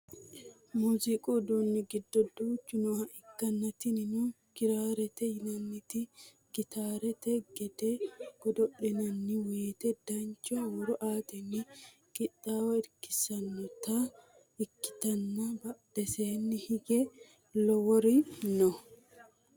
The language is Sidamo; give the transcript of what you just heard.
muziiqu uduunni giddo duuchu nooha ikkanna tinino kiraarete yinanniti gitaarete gede godo'linanni woyiite dancha huuro aatenni qixxaawo irkissanota ikkitanna badheseeni hige woluri no